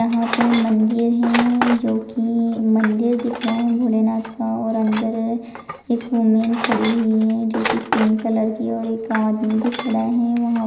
यहां पे मंदिर है जो की मंदिर दिख रहा है भोलेनाथ का और अंदर एक वूमेन खड़ी हुई है जो की पिंक कलर की और एक आदमी भी खड़ा है वहां --